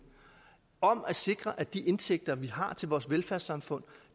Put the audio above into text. om at sikre at de indtægter vi har til vores velfærdssamfund